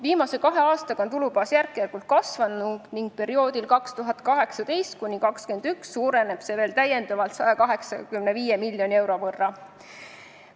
Viimase kahe aastaga on tulubaas järk-järgult kasvanud ning perioodil 2018–2021 suureneb see veel täiendavalt 185 miljoni euro võrra.